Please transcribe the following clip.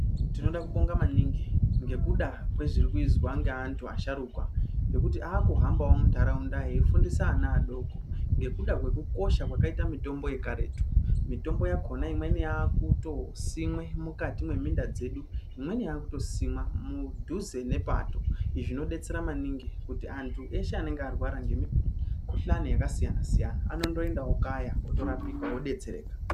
Tinoda kubonga maningi ngekuda kwezvirikuizwa ngeanthu asharukwa ngekuti akuhamba munharaunda eiifundisa ana adoko ngekuda kwekukosha kwakaita mutombo yekaretu. Mitombo yakona imweni yakutosimwe mukati mweminda dzedu, imweni yakutosimwa mudhuze nepato zvinodetsera maningi kuti anthu eshe anenge arwara nemukuhlani yakasiyana siyana anondoenda okaya otorapika odetsereka.